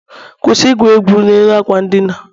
kwụsị igwu egwu n'elu akwa ndina